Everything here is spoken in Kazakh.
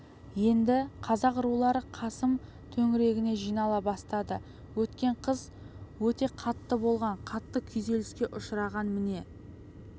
енді қазақ рулары қасым төңірегіне жинала бастады өткен қыс өте қатты болған қатты күйзеліске ұшыраған міне